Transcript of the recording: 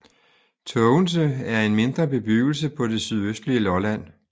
Tågense er en mindre bebyggelse på det sydøstlige Lolland